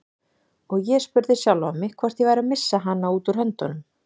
Og ég spurði sjálfan mig hvort ég væri að missa hana út úr höndunum.